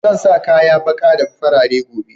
Zan sa kaya ɓaƙa da farare gobe